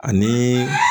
Ani